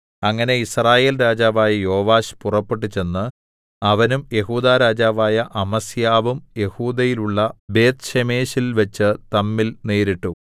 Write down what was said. അങ്ങനെ യിസ്രായേൽ രാജാവായ യോവാശ് പുറപ്പെട്ടുചെന്നു അവനും യെഹൂദാ രാജാവായ അമസ്യാവും യെഹൂദയിലുള്ള ബേത്ത്ശേമെശിൽവെച്ച് തമ്മിൽ നേരിട്ടു